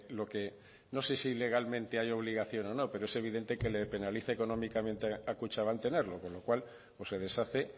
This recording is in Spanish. lo que no sé si legalmente hay obligación o no pero es evidente que le penaliza económicamente a kutxabank tenerlo con lo cual o se deshace